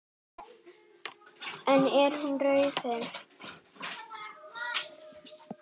En er hún raunhæf?